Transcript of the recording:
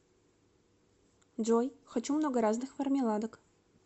джой хочу много разных мармеладок